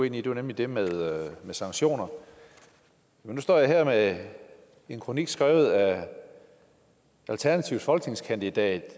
ind i det var nemlig det med sanktioner nu står jeg her med en kronik skrevet af alternativets egen folketingskandidat